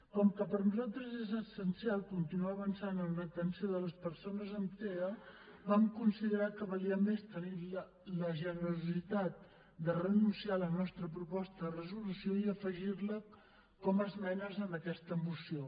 com que per nosaltres és essencial continuar avançant en l’atenció de les persones amb tea vam considerar que valia més tenir la generositat de renunciar a la nostra proposta de resolució i afegir la com a esmenes en aquesta moció